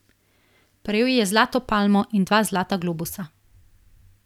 Prejel je zlato palmo in dva zlata globusa.